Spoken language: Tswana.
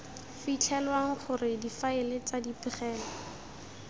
fitlhelwang gore difaele tsa dipegelo